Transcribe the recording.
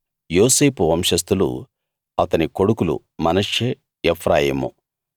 యోసేపు వంశస్థులు అతని కొడుకులు మనష్షే ఎఫ్రాయిము